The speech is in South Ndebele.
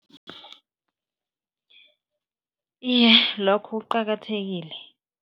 Iye, lokho kuqakathekile.